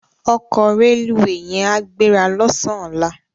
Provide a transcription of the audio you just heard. Òkò rélúwé yèn á gbérâ lòsán òlá